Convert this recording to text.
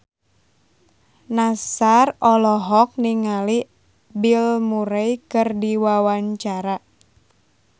Nassar olohok ningali Bill Murray keur diwawancara